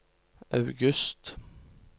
august